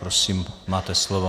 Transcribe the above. Prosím, máte slovo.